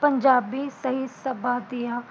ਪੰਜਾਬੀ ਤੇ ਇਸ ਤੱਫਾ ਦੀਆ